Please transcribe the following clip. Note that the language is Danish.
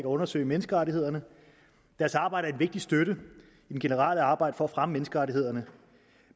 undersøge menneskerettighederne deres arbejde vigtig støtte i det generelle arbejde for at fremme menneskerettighederne